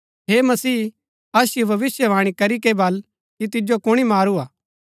हे मसीह असिओ भविष्‍यवाणी करी कै बल कि तिजो कुणी मारू हा